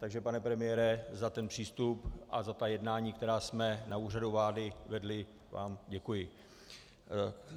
Takže pane premiére, za ten přístup a za ta jednání, která jsme na Úřadu vlády vedli, vám děkuji.